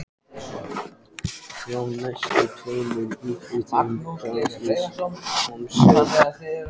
Frá næstu tveimur íbúðum bárust hamarshögg.